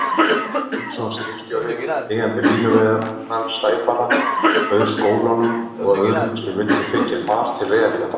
Steinsson skipstjóri, eigandi línuveiðarans Sæfara, bauð skólanum og öðrum sem vildu þiggja, far til Reyðarfjarðar.